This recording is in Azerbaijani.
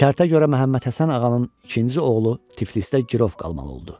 Şərtə görə Məmmədhəsən ağanın ikinci oğlu Tiflisdə girov qalmalı oldu.